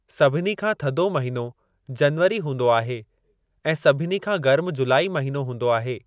सभिनी खां थधो महिनो जनवरी हूंदो आहे ऐं सभिनी खां गर्म जुलाई महिनो हूंदो आहे।